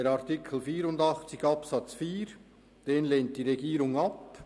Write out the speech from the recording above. Auch den Antrag zu Artikel 84 Absatz 4 lehnt die Regierung ab.